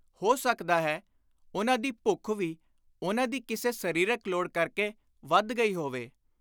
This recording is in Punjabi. ਹੋ ਸਕਦਾ ਹੈ ਉਨ੍ਹਾਂ ਦੀ ਭੁੱਖ ਵੀ ਉਨ੍ਹਾਂ ਦੀ ਕਿਸੇ ਸਰੀਰਕ ਲੋੜ ਕਰਕੇ ਵਧ ਗਈ ਹੋਵੇ।